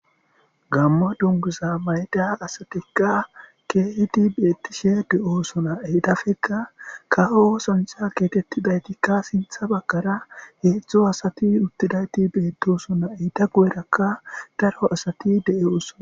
gammo dunguza mayda asatikka keehidi beettishe de7oosona enthafekka ka7o osanchha getettidaytikka sintha bagkara heedzdzo asati uttidayti beettosona entha guyerakka daro asati de7eosona.